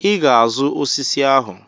I ga-azụ osisi ahụ.